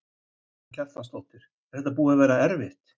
Karen Kjartansdóttir: Er þetta búið að vera erfitt?